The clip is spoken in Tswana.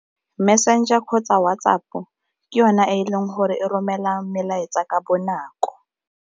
Messenger kgotsa WhatsApp-o ke yona e e leng gore e romela melaetsa ka bonako.